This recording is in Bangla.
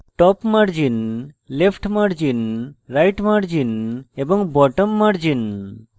top margin left margin right margin এবং bottom margin